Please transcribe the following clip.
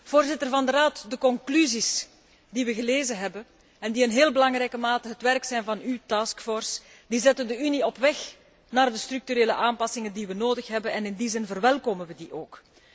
Voorzitter van de Raad, de conclusies die we gelezen hebben, en die in heel belangrijke mate het werk zijn van uw brengen de Unie op weg naar de structurele aanpassingen die we nodig hebben, en in die zin verwelkomen we die ook.